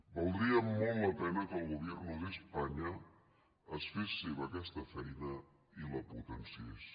valdria molt la pena que el gobierno de españa es fes seva aquesta feina i la potenciés